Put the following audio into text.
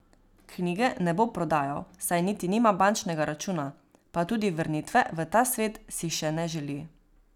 Knjige ne bo prodajal, saj niti nima bančnega računa, pa tudi vrnitve v ta svet si še ne želi.